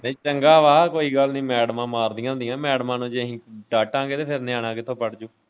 ਇਹ ਚੰਗਾ ਵਾਂ ਕੋਈ ਗੱਲ ਨੀ ਮੈਡਮਾਂ ਮਾਰਦੀਆਂ ਹੁੰਦੀਆਂ ਮੈਡਮਾਂ ਨੂੰ ਜੇ ਅਸੀਂ ਡਾਂਟਾਗੇ ਫਿਰ ਨਿਆਣਾ ਕਿੱਥੋ ਪੜਜੂ।